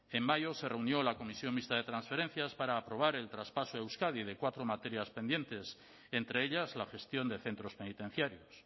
en mayo se reunió la comisión mixta de transferencias para aprobar el traspaso a euskadi de cuatro materias pendientes entre ellas la gestión de centros penitenciarios